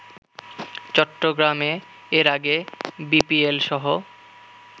চট্টগ্রামে এর আগে বিপিএলসহ